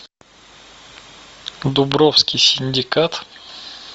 дубровский синдикат